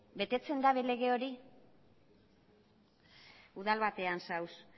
betetzen dute lege hori udal batean zaude